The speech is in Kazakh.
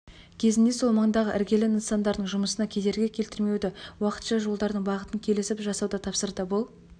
кезінде сол маңдағы іргелі нысандардың жұмысына кедергі келтірмеуді уақытша жолдардың бағытын келісіп жасауды тапсырды бұл